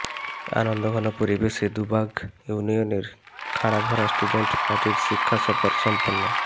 আনন্দঘন পরিবেশে দুবাগ ইউনিয়নের খাড়াভরা স্টুডেন্ট পার্টির শিক্ষা সফর সম্পন্ন